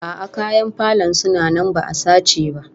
A'a, kayan falon suna nan ba'a sace ba